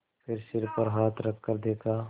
फिर सिर पर हाथ रखकर देखा